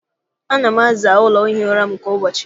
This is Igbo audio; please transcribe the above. Ana m aza ụlọ ihi ụra m kwa ụbọchị.